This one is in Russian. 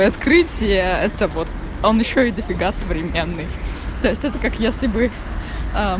открытие это вот он ещё и дофига современной это как если бы